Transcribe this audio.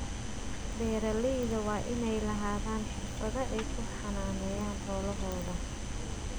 Beeralayda waa inay lahaadaan xirfado ay ku xanaaneeyaan xoolahooda.